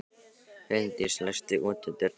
Huldís, læstu útidyrunum.